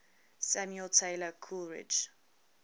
samuel taylor coleridge